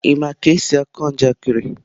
Ị ma ka esi akọ njakịrị?